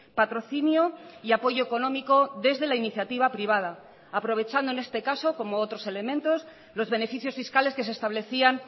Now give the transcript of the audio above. patrocinio y apoyo económico desde la iniciativa privada aprovechando en este caso como otros elementos los beneficios fiscales que se establecían